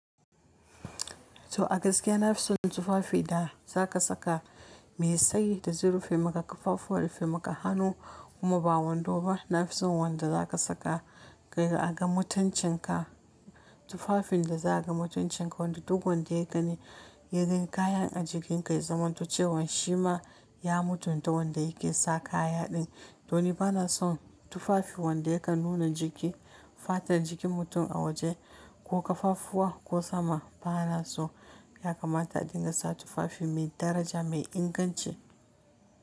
To a gaskiya na fi son tufafi da za ka saka mai tsayi da zurfi maka, kafafuwa da fi maka hannu kuma ba wando ba. Na fi son wanda za ka saka ka ga mutuncin ka. Tufafin da za a ga mutuncin ka wanda duk wanda ya gani, ya gani kayan a jikin ka ya zamanto cewan shi ma ya mutu da wanda yake sa kaya din. Don ba na son tufafi wanda ya ka nuna jiki, fata da jikin mutum a waje ko kafafuwa ko sama. Ba na so, ya kamata a dinga sa tufafi mai daraja mai inganci.